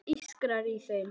Það ískrar í þeim.